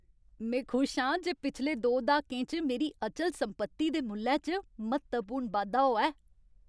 में खुश आं जे पिछले दो द्हाकें च मेरी अचल संपत्ति दे मुल्लै च म्हत्तवपूर्ण बाद्धा होआ ऐ।